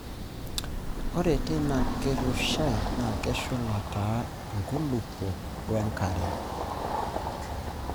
Ore teina kirrushai naa keshula taa nkulupuok we nkare.